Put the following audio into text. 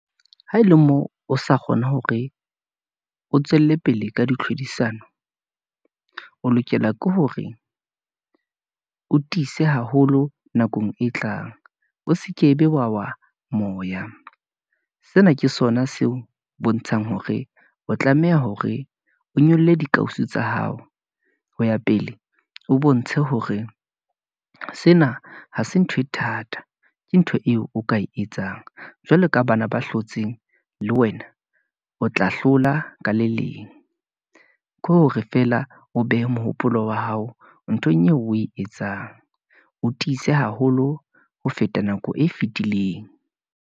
Ha e le moo, o sa kgona hore o tswelle pele ka ditlhodisano, o lokela ke hore o tiise haholo nakong e tlang, o se ke be wa wa moya, sena ke sona seo bontshang hore o tlameha hore o nyolle dikausu tsa hao, ho ya pele, o bontshe hore sena ha se ntho e thata, ke ntho eo o ka e etsang. Jwalo ka bana ba hlotseng le wena, o tla hlola ka le leng, ke hore feela o behe mohopolo wa hao nthong eo o e etsang, o tiise haholo ho feta nako e fitileng.